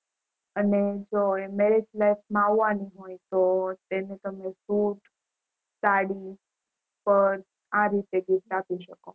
અને જો Marriage Life માં આવવાની હોય તો તેને તમે બુટ સાડી Persh આ રીતે gift આપી શકો